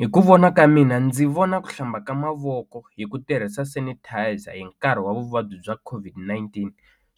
Hi ku vona ka mina ndzi vona ku hlamba ka mavoko hi ku tirhisa sanitizer hi nkarhi wa vuvabyi bya COVID-19